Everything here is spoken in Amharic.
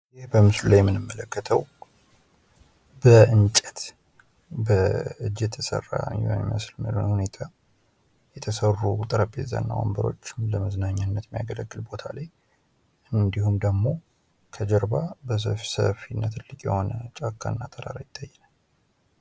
ይህ በምስሉ ላይ የምንመለከተው በእንጨት በእጅ የተሰራ በሚመስል ሁኔታ የተሰሩ ጠረጴዛ እና ወንበሮች ለመዝናኛነት የሚያገለግል ቦታ ላይ ፤ እንዲሁም ደሞ ከጀርባ ሰፊ የሆነ ጫካና ተራራ ይታየናል።